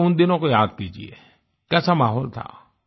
जरा उन दिनों को याद कीजिये कैसा माहौल था